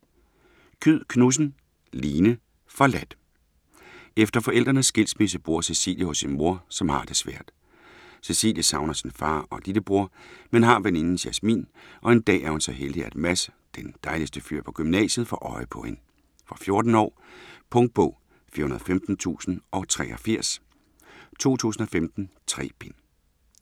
Kyed Knudsen, Line: Forladt Efter forældrenes skilsmisse bor Cecilie hos sin mor, som har det svært. Cecilie savner sin far og lillebror, men har veninden Jasmin, og en dag er hun så heldig at Mads, den dejligste fyr på gymnasiet, får øje på hende. Fra 14 år. Punktbog 415083 2015. 3 bind.